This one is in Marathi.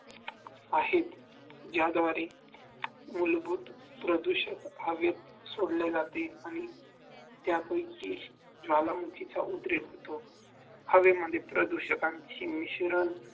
आहेत ज्याद्वारे मूलभूत प्रदूषित हवेत सोडल्या जातील आणि त्यापेक्षा ज्वालामुखीचा उद्रेक होतो हवेमध्ये प्रदूषकांची मिश्रण